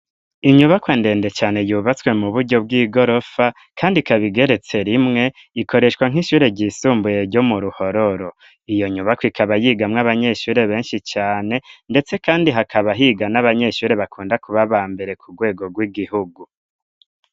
Inyubakwa ndende cane yubatswe mu buryo bw'igorofa kandi ikaba igeretse rimwe ikoreshwa nk'ishure ryisumbuye ryo mu ruhororo. Iyo nyubako ikaba yigamwo abanyeshure benshi cane ndetse kandi hakaba higa n'abanyeshure bakunda kuba aba mbere ku rwego rw'igihugu.